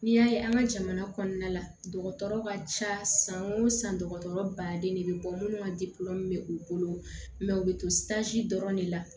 N'i y'a ye an ka jamana kɔnɔna la dɔgɔtɔrɔ ka ca san o san dɔgɔtɔrɔ baden de bɛ bɔ minnu ka bɛ u bolo u bɛ to dɔrɔn de la